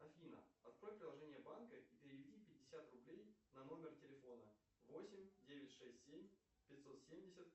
афина открой приложение банка и переведи пятьдесят рублей на номер телефона восемь девять шесть семь пятьсот семьдесят